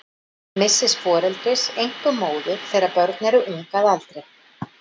Missis foreldris, einkum móður, þegar börn eru ung að aldri.